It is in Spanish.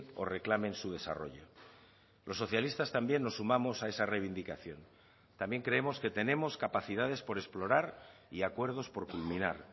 o reclamen su desarrollo los socialistas también nos sumamos a esa reivindicación también creemos que tenemos capacidades por explorar y acuerdos por culminar